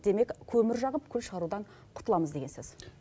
демек көмір жағып көң шырудан құтыламыз деген сөз